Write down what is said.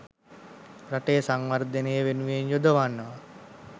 රටේ සංවර්ධනය වෙනුවෙන් යොදවනවා.